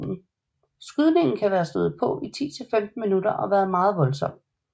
Skydningen skal være stået på i 10 til 15 minutter og været meget voldsom